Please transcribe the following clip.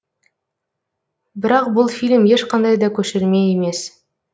бірақ бұл фильм ешқандай да көшірме емес